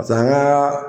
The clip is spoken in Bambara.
an ka